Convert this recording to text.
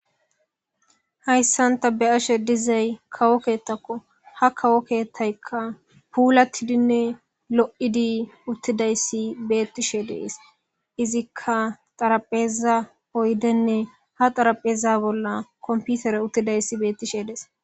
Haysan ta beyashe dizaya qopetako kawo kethayka kawo kethayka pulatidine lo'idi uttidaysi bettishe dees izzika xarapheza oydene ha xarapheza bolla kompiterey bettishe dees